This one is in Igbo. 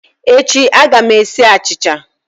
Echi a ga m esi achicha